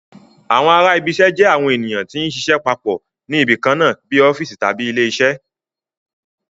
Àwọn ará ibi iṣẹ́ jẹ́ àwọn ènìyàn tí ń ṣiṣẹ́ papọ̀ ní ibi kan náà bíi ọ́fíìsì tàbí ilé iṣẹ́